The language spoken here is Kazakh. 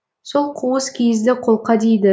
сол қуыс киізді қолқа дейді